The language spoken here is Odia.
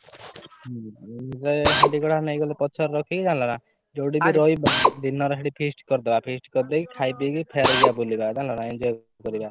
ହାଣ୍ଡି କଡା ନେଇଗଲେ ଯଉ ଠି ରହିବା ସେଠି ଦିନରେ feast କରିଦବା feast କରିଦେଇ ଖାଇଦେଇ ଫେରେ ଯିବା ବୁଲିବାକୁ ଜାଣିଲ ନା।